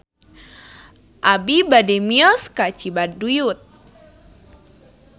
Abi bade mios ka Cibaduyut